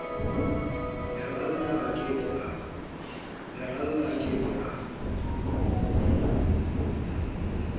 leralla a ke ke a